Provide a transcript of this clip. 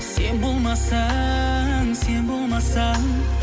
сен болмасаң сен болмасаң